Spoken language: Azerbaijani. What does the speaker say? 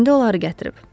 İndi onları gətirib.